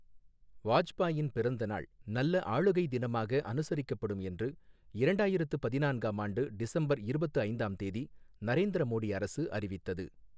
வாஜ்பாயின் பிறந்த நாள் நல்ல ஆளுகை தினமாக அனுசரிக்கப்படும் என்று இரண்டாயிரத்து பதினான்காம் ஆண்டு டிசம்பர் இருபத்து ஐந்தாம் தேதி நரேந்திர மோடி அரசு அறிவித்தது.